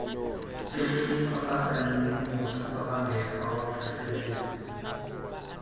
elinikwa baninimoto ababngekawavuseleli